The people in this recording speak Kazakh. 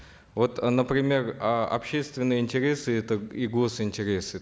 вот э например э общественные интересы это и гос интересы